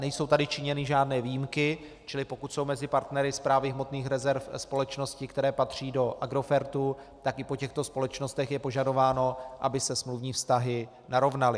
Nejsou tady činěny žádné výjimky, čili pokud jsou mezi partnery Správy hmotných rezerv společnosti, které patří do Agrofertu, tak i po těchto společnostech je požadováno, aby se smluvní vztahy narovnaly.